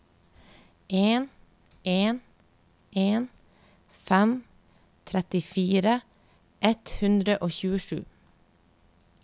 en en en fem trettifire ett hundre og tjuesju